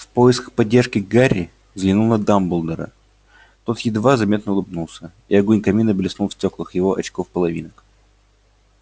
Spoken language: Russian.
в поисках поддержки гарри взглянул на дамблдора тот едва заметно улыбнулся и огонь камина блеснул в стёклах его очков-половинок